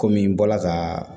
Kɔmi n bɔra ka